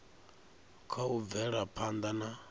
kha u bvela phanḓa na